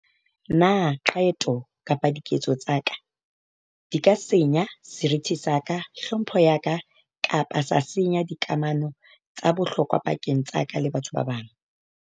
Na qeto kapa diketso tsa ka di ka senya seriti sa ka, tlhompho ya ka kapa sa senya dikamano tsa bohlokwa pakeng tsa ka le batho ba bang?